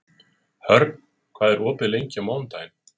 Hörn, hvað er opið lengi á mánudaginn?